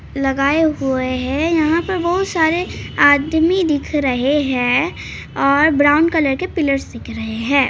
लगाए हुए हैं यहाँ पे बहुत सारे आदमी दिख रहे हैं और ब्राउन कलर के पिलर्स दिख रहे हैं।